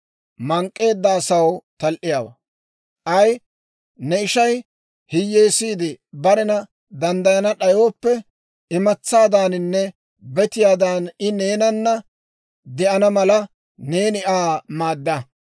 « ‹K'ay ne ishay hiyyeesiide barena danddayana d'ayooppe, imatsaadaaninne betiyaadan I neenana de'ana mala, neeni Aa maadda.